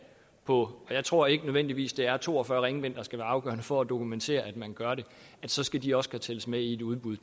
på anden og jeg tror ikke nødvendigvis det er to og fyrre ringbind der skal være afgørende for at dokumentere at man gør det så skal de også kunne tælles med i et udbud